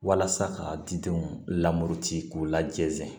Walasa ka didenw lamɔti k'u ladezɛn